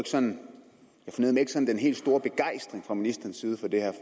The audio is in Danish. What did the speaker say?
sådan den helt store begejstring fra ministerens side for det her